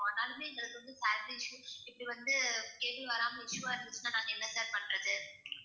ஆனாலுமே எங்களுக்கு வந்து issues இப்படி வந்து cable வராம issue ஆ இருந்துச்சுன்னா நாங்க என்ன sir பண்றது?